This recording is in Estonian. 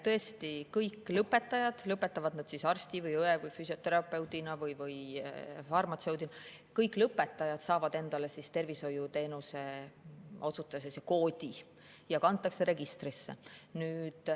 Tõesti, kõik lõpetajad – lõpetavad nad arsti või õe või füsioterapeudi või farmatseudina – saavad endale tervishoiuteenuse osutaja koodi ja kantakse registrisse.